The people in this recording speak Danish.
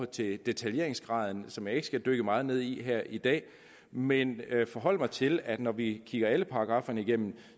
til detaljeringsgraden som jeg ikke skal dykke meget ned i her i dag men jeg vil forholde mig til at når vi kigger alle paragrafferne igennem